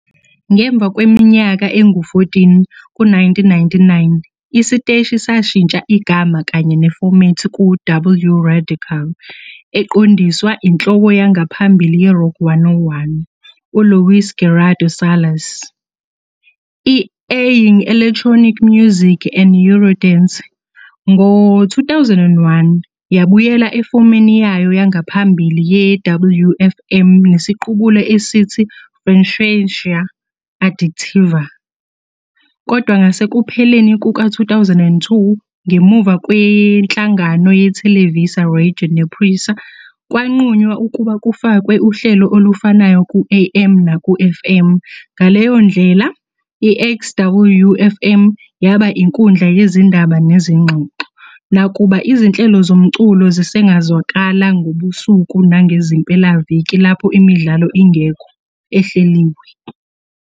Ngemva kweminyaka engu-14, ku-1999, isiteshi sashintsha igama kanye nefomethi ku- "W Radical", eqondiswa inhloko yangaphambili ye-"Rock 101", uLuis Gerardo Salas, i-airing electronic music and eurodance. Ngo-2001, yabuyela efomeni yayo yangaphambili ye-WFM nesiqubulo esithi "Frecuencia Adictiva", kodwa ngasekupheleni kuka-2002, ngemuva kwenhlangano yeTelevisa Radio nePRISA, kwanqunywa ukuba kufakwe uhlelo olufanayo ku-AM naku-FM, ngaleyo ndlela i-XEW-FM. yaba inkundla yezindaba nezingxoxo, nakuba izinhlelo zomculo zisengazwakala ngobusuku nangezimpelaviki lapho imidlalo ingekho ehleliwe.